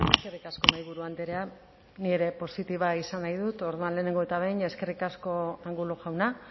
eskerrik asko mahaiburu andrea ni ere positiboa izan nahi dut orduan lehenengo eta behin eskerrik asko angulo jauna